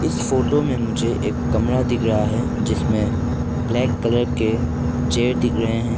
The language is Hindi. इस फोटो में मुझे एक कमरा दिख रहा है जिसमें ब्लैक कलर के चेयर दिख रहे है।